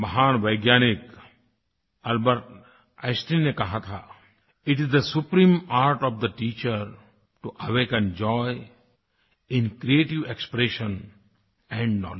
महान वैज्ञानिक Albert Einstein ने कहा था it is the supreme art of the teacher to awaken joy in creative expression and knowledge